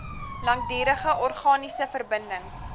langdurige organiese verbindings